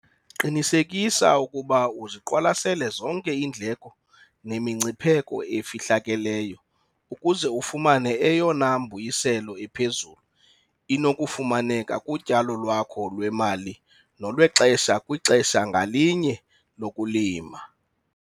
Qinisekisa ukuba uziqwalasele zonke iindleko nemingcipheko efihlakeleyo, ukuze ufumane eyona mbuyiselo iphezulu inokufumaneka kutyalo lwakho lwemali nolwexesha kwixesha ngalinye lokulima.